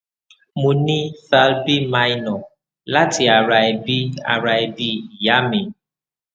mo ni thal b minor lati ara ebi ara ebi iya mi